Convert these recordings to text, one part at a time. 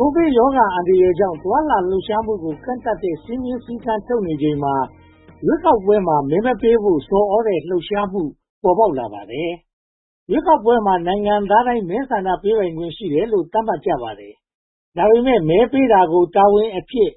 ကိုဗစ်ရောဂါအန္တရာယ်ကြောင့် သွားလာလှုပ်ရှားမှုကို ကန့်သတ်တဲ့ စည်းမျဉ်းစည်းကမ်းထုတ်နေချိန်မှာ ရွေးကောက်ပွဲမှာ မဲမပေးဖို့ဆော်သြတဲ့ လှုပ်ရှားမှု ပေါ်ပေါက်လာပါတယ်။ ရွေးကောက်ပွဲမှာ နိုင်ငံသားတိုင်းမှာ မဲဆန္ဒပေးခွင့်ရှိတယ်လို့ သတ်မှတ်ကြပါတယ်။ ဒါပေမဲ့ မဲပေးတာကို တာဝန်အဖြစ်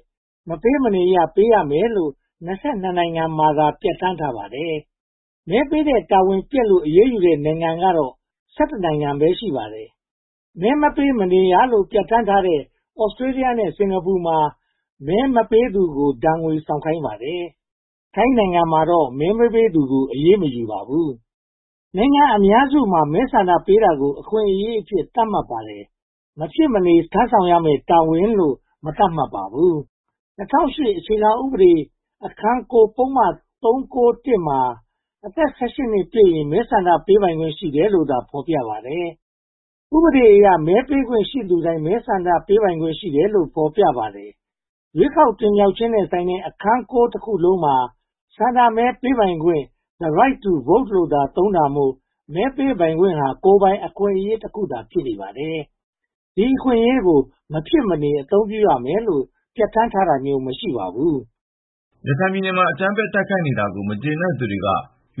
မပေးမနေရ ပေးရမယ်လို့ (၂၂) နိုင်ငံမှာသာ ပြဌာန်းထားပါတယ်။ မဲပေးတဲ့ တာဝန်ပျက်ကွယ်လို့ အရေးယူတဲ့ နိုင်ငံကတော့ (၁၁) နိုင်ငံ ရှိပါတယ်။ မဲမပေးမနေရလို့ ပြဌာန်းထားတဲ့ Australia နဲ့ Singapore မှာ မဲမပေးသူကို ဒဏ်ငွေဆောင်ခိုင်းပါတယ်။ ထိုင်းနိုင်ငံမှာတော့ မဲမပေးသူကို အရေးမယူပါဘူး။ နိုင်ငံအများစုမှာ မဲဆန္ဒပေးတာကို အခွင့်အရေးအဖြစ် သတ်မှတ်ထားပါတယ်။ မဖြစ်မနေ ထမ်းဆောင်ရမယ့် တာဝန်လို့ မသတ်မှတ်ပါဘူး။ ၂၀၀၈ အခြေခံဥပဒေ အခန်း (၉) ပုဒ်မ (၃၉၁) မှာ အသက် (၁၈) ပြည့်ရင် ဆန္ဒမဲပေးပိုင်ခွင့် ရှိတယ်လို့သာ ဖော်ပြပါတယ်။ ဥပဒေအရ မဲပေးခွင့်ရှိသူတိုင်း ဆန္ဒမဲပေးပိုင်ခွင့် ရှိတယ်လို့ ဖော်ပြထားပါတယ်။ ရွေးကောက်ပွဲတင်မြှောက်ခြင်းနဲ့ဆိုင်တဲ့ အခန်း (၉) တစ်ခုလုံးမှာ ဆန္ဒမဲပေးပိုင်ခွင့် the right to vote လို့သာ သုံးတာမို့ မဲပေးပိုင်ခွင့်သာ ကိုယ်ပိုင်အခွင့်အရေးတစ်ခုသာ ဖြစ်နေပါတယ်။ ဒီအခွင့်အရေးကို မဖြစ်မနေ အသုံးပြုရမယ်လို့ ပြဌာန်းတာမျိုး မရှိပါဘူး။ ရခိုင်ပြည်နယ်မှာ အကြမ်းဖက်တိုက်ခိုက်နေတာကို မကျေနပ်သူတွေက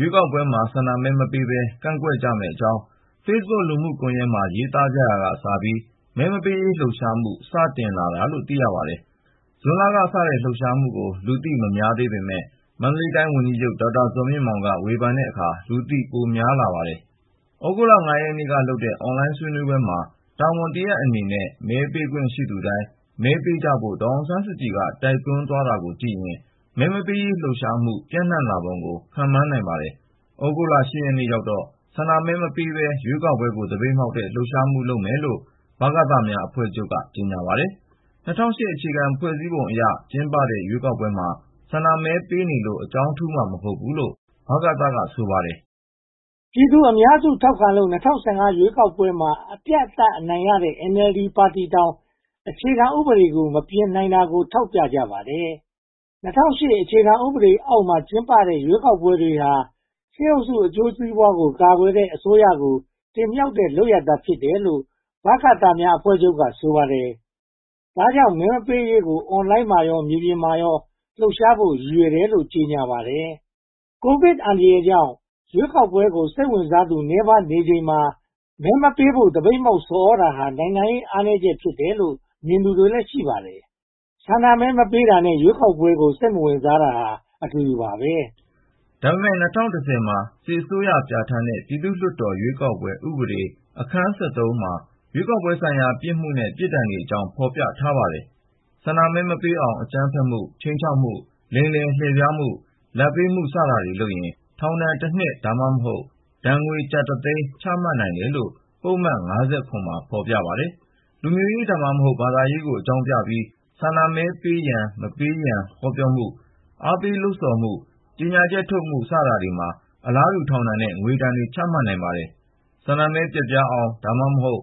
ရွေးကောက်ပွဲမှာ ဆန္ဒမဲမပေးဘဲ ကန့်ကွက်မယ့်အကြောင်း Facebook လူမှုကွန်ရက်မှာ ရေးသားကြရာကစပြီး မဲမပေးရေး လှုပ်ရှားမှု စတင်လာတာလို့ သိရပါတယ်။ ဇွန်လကစတဲ့ လှုပ်ရှားမှုကို လူသိများပေမယ့် မန္တလေးတိုင်း ဝန်ကြီးချုပ် ဒေါက်တာဇော်မြင့်မောင်က ဝေဖန်တဲ့အခါမှာ လူသိများလာပါတယ်။ သြဂုတ်လ (၅) ရက်နေ့ကလုပ်တဲ့ အွန်လိုင်းဆွေးနွေးပွဲမှာ တာဝန်တရပ်အနေနဲ့ မဲပေးခွင့်ရှိသူတိုင်း မဲထည့်ကြဖို့ ဒေါ်အောင်ဆန်းစုကြည်က တိုက်တွန်းသွားတာကိုကြည့်ရင် မဲမပေးရေးလှုပ်ရှားမှု ပြန့်နံှလာပုံကို ခန့်မှန်းနိုင်ပါတယ်။ သြဂုတ်လ (၈) ရက်နေ့ရောက်တော့ ဆန္ဒမဲမပေးဘဲ ရွေးကောက်ပွဲကို သပိတ်မှောက်တဲ့ လှုပ်ရှားမှုလုပ်မယ်လို့ ဗကသများအဖွဲ့ချုပ်က ကြေညာပါတယ်။ ၂၀၀၈ အခြေခံဥပဒေအရ ကျင်းပတဲ့ ရွေးကောက်ပွဲမှာ ဆန္ဒမဲပေးနေလို့ အကြောင်းထူးမှာ မဟုတ်ဘူးလို့ ဗကသ က ဆိုပါတယ်။ ပြည်သူ့အများစုထောက်ခံလို့ ၂၀၁၅ ရွေးကောက်ပွဲမှာ အပြတ်အသတ်နိုင်တဲ့ NLD ပါတီတောင် အခြေခံဥပဒေ မပြင်နိုင်တာကို ထောက်ပြကြပါတယ်။ ၂၀၀၈ အခြေခံဥပဒေအောက်မှာ ကျင်းပတဲ့ ရွေးကောက်ပွဲတွေဟာ စစ်အုပ်စုအကျိုးစီးပွားကို ကာကွယ်တဲ့အစိုးရကို တင်မြှောက်တဲ့ လုပ်ရပ်သာဖြစ်တယ်လို့ ဗကသအဖွဲ့ချုပ်က ဆိုပါတယ်။ ဒါပေမဲ့ မပေးရေးကို အွန်လိုင်းမှာရော မြေပြင်မှာရော လှုပ်ရှားဖို့ ရည်ရွယ်တယ်လို့ ကြေညာပါတယ်။ ကိုဗစ်အန္တရာယ်ကြောင့် ရွေးကောက်ပွဲကို စိတ်ဝင်စားသူ နည်းပါးနေချိန်မှာ မဲမပေးဖို့ သပိတ်မှောက်ဆော်သြတာဟာ နိုင်ငံရေးအားနည်းချက် ဖြစ်တယ်လို့ မြင်သူတွေလည်း ရှိပါတယ်။ ဆန္ဒမဲမပေးတာနဲ့ ရွေးကောက်ပွဲကို စိတ်မဝင်စားတာဟာ အတူတူပါပဲ။ ဒါပေမဲ့ ၂၀၁၀ မှာ စစ်အစိုးရပြဌာန်းတဲ့ ပြည်သူ့ရွေးကောက်ပွဲ ဥပဒေအခန်း (၁၃) မှာ ရွေးကောက်ပွဲဆိုင်ရာ ပြစ်မှုနဲ့ ပြစ်ဒဏ်တွေအကြောင်း ဖော်ပြထားပါတယ်။ ဆန္ဒမဲမပေးအောင် အကြမ်းဖက်မှု၊ ခြိမ်းခြောက်မှု၊ လိမ်လည်လှည့်ဖြားမှု၊ လာဘ်ပေးမှု စတာတွေလုပ်ရင် ထောင်ဒဏ်တနှစ် (သို့မဟုတ်) ဒဏ်ငွေကျပ်တသိန်းအထိ ချမှတ်နိုင်တယ်လို့ ပုဒ်မ (၅၇) မှာ ဖော်ပြပါတယ်။ လူမျိုးရေး (သို့မဟုတ်) ဘာသာရေးကို အကြောင်းပြပြီး ဆန္ဒမဲပေးရန်၊ မပေးရန် ဟောပြောမှု၊ အားပေးလှုပ်ဆော်မှု၊ ကြေညာချက်ထုတ်မှု စတာတွေမှာ အလားတူ ထောင်ဒဏ်နဲ့ငွေဒဏ် ချမှတ်နိုင်ပါတယ်။ ဆန္ဒမဲ ပျက်ပြားအောင် (သို့မဟုတ်)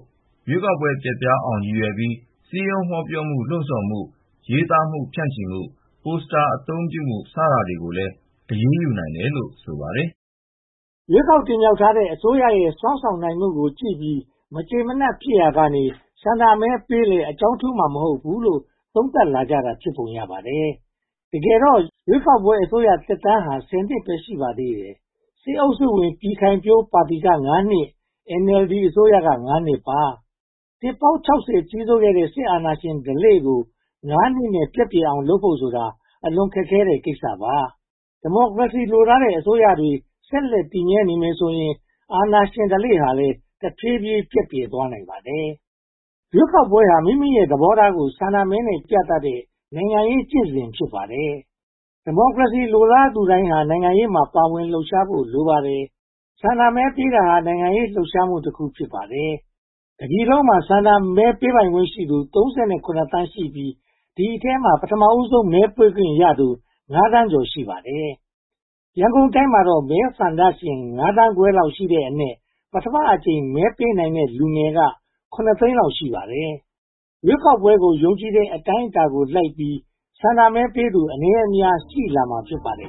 ရွေးကောက်ပွဲ ပျက်ပြားသွားအောင် ရည်ရွယ်ပြီး စည်းဝေးဟောပြောမှု၊ လှုံဆော်မှု၊ ရေးသားမှု၊ ဖြန့်ချီမှု၊ ပို့စတာ အသုံးပြုမှု စတာတွေကိုလည်း အရေးယူနိုင်တယ်လို့ ဆိုပါတယ်။ ရွေးကောက်တင်မြှောက်ထားတဲ့ အစိုးရရဲ့ စွမ်းဆောင်နိုင်မှုကိုကြည့်ပြီး မကျေမနပ်ဖြစ်ရာကနေ ဆန္ဒမဲပေးလည်း အကြောင်းထူးမှာ မဟုတ်ဘူးလို့ သုံးသပ်လာကြတာ ဖြစ်ပုံရပါတယ်။ တကယ်တော့ ရွေးကောက်ပွဲအစိုးရသက်တမ်းဟာ (၁၀) နှစ်ပဲ ရှိပါသေးတယ်။ စစ်အုပ်စုဝင် ပြည်ခိုင်ဖြိုးပါတီက (၅) နှစ် NLD အစိုးရက (၅) နှစ်ပါ။ နှစ်ပေါင်း (၆၀) နီးပါး ကြီးစိုးခဲ့တဲ့ စစ်အာဏာရှင် ဓလေ့ကို (၅) နှစ် ပျက်ပြယ်အောင် ပြုလုပ်ဖို့ဆိုတာ အလွန်ခက်ခဲတဲ့ကိစ္စပါ။ ဒီမိုကရေစီ လိုလားတဲ့ အစိုးရတွေ ဆက်လက်တည်မြဲနေမယ်ဆိုရင် အာဏာရှင်ဓလေ့ဟာ တဖြည်းဖြည်းပျက်ပြယ်သွားနိုင်ပါတယ်။ ရွေးကောက်ပွဲဟာ မိမိရဲ့သဘောထားကို ဆန္ဒမဲနဲ့ ပြသတဲ့ နိုင်ငံရေးကျင့်စဉ် ဖြစ်ပါတယ်။ ဒီမိုကရေစီ လိုလားသူတိုင်းဟာ နိုင်ငံရေးမှာ ပါဝင်လှုပ်ရှားဖို့ လိုပါတယ်။ ဆန္ဒမဲပေးတာဟာ နိုင်ငံရေးလှုပ်ရှားမှုတခု ဖြစ်ပါတယ်။ တပြည်လုံးမှာ ဆန္ဒမဲပေးခွင့်ရှိသူ (၃၇) သန်းခွဲလောက်ရှိတဲ့အနက် ပထမအကြိမ် မဲပေးမယ့် လူငယ်က (၇) သိန်းလောက် ရှိပါတယ်။ ရွေးကောက်ပွဲကို ယုံကြည်တဲ့ အတိုင်းအတာကိုလိုက်ပြီး ဆန္ဒမဲပေးသူ အနည်းအများ ရှိလာမှာ ဖြစ်ပါတယ်